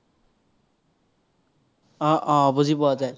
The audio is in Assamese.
অ অ বুজি পোৱা যায়।